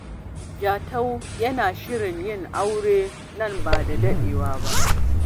Jatau yana shirin yin aure nan ba da jimawa ba.